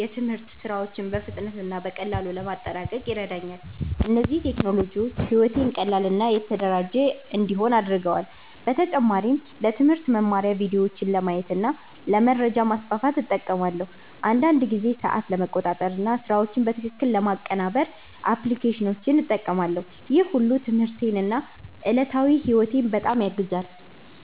የትምህርት ሥራዎችን በፍጥነት እና በቀላሉ ለማጠናቀቅ ይረዳኛል። እነዚህ ቴክኖሎጂዎች ሕይወቴን ቀላል እና የተደራጀ እንዲሆን አድርገዋል። በተጨማሪም ለትምህርት መማሪያ ቪዲዮዎችን ለማየት እና ለመረጃ ማስፋፋት እጠቀማለሁ። አንዳንድ ጊዜ ሰዓት ለመቆጣጠር እና ስራዎችን በትክክል ለማቀናበር አፕሊኬሽኖችን እጠቀማለሁ። ይህ ሁሉ ትምህርቴን እና ዕለታዊ ሕይወቴን በጣም ያግዛል።